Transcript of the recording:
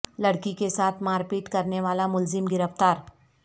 لڑکی کے ساتھ مار پیٹ کرنے والا ملزم گرفتار